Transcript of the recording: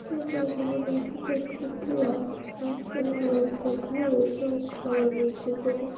দেখো এখানে দেখা যাচ্ছে একটি রাস্তা এবং রাস্তার ধারে কেও খাবার বিক্রি করে।